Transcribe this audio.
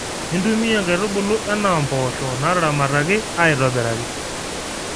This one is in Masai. intumiya inkaitubulu enaa mboosho naataramataki aitobiraki